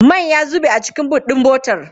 Man ya zube a cikin boot ɗin motar.